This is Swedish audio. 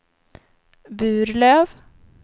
Burlöv